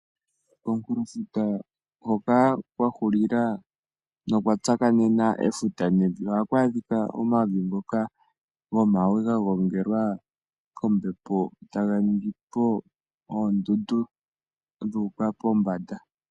Komunkulo futa hoka kwa hulila efuta nokwa tsakanena efuta nevi ohaku adhika omavi ngoka gomawe ga gongelwa kombepo, taga ningi po oondundu dhu uka pombanda.